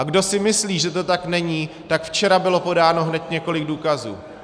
A kdo si myslí, že to tak není, tak včera bylo podáno hned několik důkazů.